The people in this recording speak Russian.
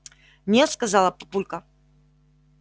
нет сказал папулька